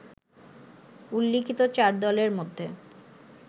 উল্লিখিত চার দলের মধ্যে